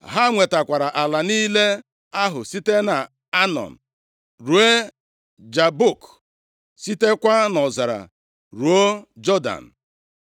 Ha nwetara ala niile ahụ, site nʼAnọn ruo Jabọk, sitekwa nʼọzara ruo Jọdan.